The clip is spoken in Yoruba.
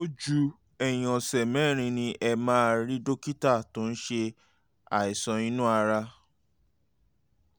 ojú ẹ̀yìn ọ̀sẹ̀ mẹ́rin ni ẹ máa rí dókítà tó ń ṣe àìsàn inú ara